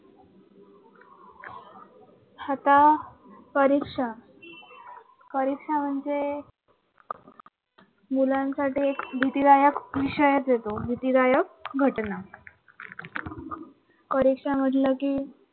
आता परीक्षा परीक्षा म्हणजे मुलांसाठी एक भीतीदायक विषयचे तो, भीतीदायक घटना परीक्षा म्हंटले कि,